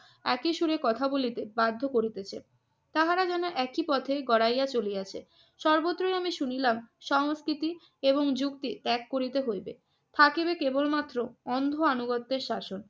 একই সুরে কথা বলিতে বাধ্য করিতেছে। তাহারা যেন একই পথে গড়াইয়া চলিয়াছে। সর্বত্রই আমি শুনিলাম সংস্কৃতি এবং যুক্তি ত্যাগ করিতে হইবে। থাকিবে কেবলমাত্র অন্ধ আনুগত্যের শাসন।